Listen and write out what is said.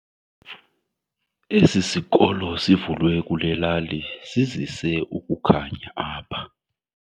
Esi sikolo sivulwe kule lali sizise ukukhanya apha.